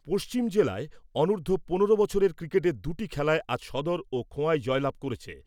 পশ্চিম জেলায় অনূর্ধ্ব পনেরো বছরের ক্রিকেটের দুটি খেলায় আজ সদর ও খোয়াই জয়লাভ করেছে।